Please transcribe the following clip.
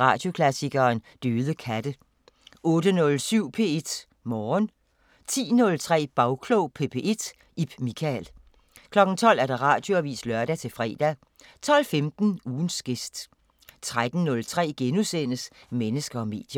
Radioklassikeren: Døde katte * 08:07: P1 Morgen 10:03: Bagklog på P1: Ib Michael 12:00: Radioavisen (lør-fre) 12:15: Ugens gæst 13:03: Mennesker og medier *